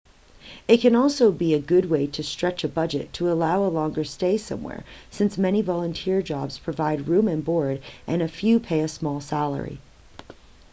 it can also be a good way to stretch a budget to allow a longer stay somewhere since many volunteer jobs provide room and board and a few pay a small salary